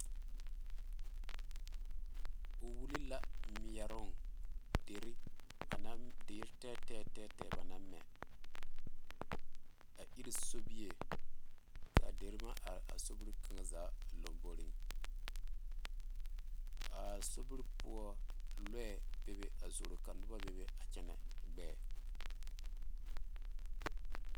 O wule la meɛro dire bam naŋ dire tɛɛtɛɛ banaŋ mɛ a iri sobie kaa dire meŋ are a sobie kaŋa zaa lanboɔre a sobie poɔ lɔɛ bebe a zoro ka noba bebe a kyɛne gbɛɛ.